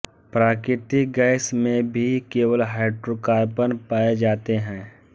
प्राकृतिक गैस में भी केवल हाइड्रोकार्बन पाए जाते हैं